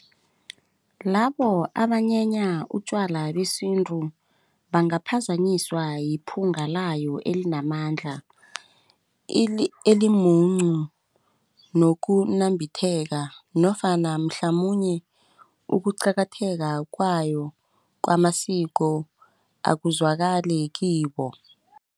Labo abanyenya utjwala besintu bangaphazanyiswa yiphunga layo elinamandla elimuncu nokunambitheka nofana mhlamunye ukuqakatheka kwayo kwamasiko akuzwakali kibo.